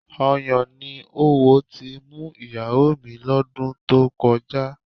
Ọyàn ni oówo ti mú ìyàwó mi lọ́dún tó kọjá